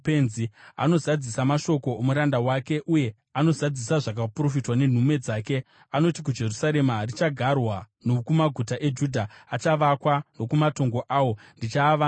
anozadzisa mashoko omuranda wake, uye anozadzisa zvakaprofitwa nenhume dzake, “anoti kuJerusarema, ‘Richagarwa,’ nokumaguta eJudha, ‘Achavakwa,’ nokumatongo awo, ‘Ndichaavandudza,’